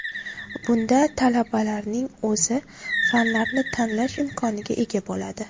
Bunda talabalarning o‘zi fanlarni tanlash imkoniga ega bo‘ladi.